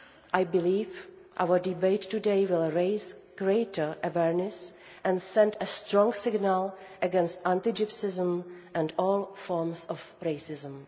I believe our debate today will raise greater awareness and send a strong signal against anti Gypsyism and all forms of racism.